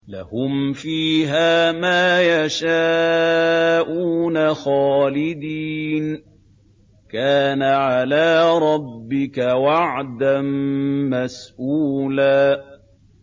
لَّهُمْ فِيهَا مَا يَشَاءُونَ خَالِدِينَ ۚ كَانَ عَلَىٰ رَبِّكَ وَعْدًا مَّسْئُولًا